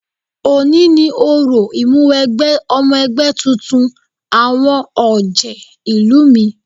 Òní ni òrò Ìmúwẹgbẹ́ ọmọ ẹgbẹ́ tuntun àwọn ọ̀jẹ̀ ìlú mi